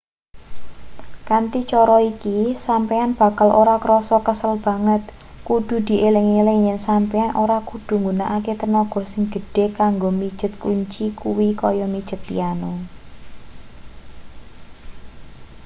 kanthi cara iki sampeyan bakal ora krasa kesel banget kudu dieling-eling yen sampeyan ora kudu nggunakake tenaga sing gedhe kanggo mijet kunci kuwi kaya mijet piano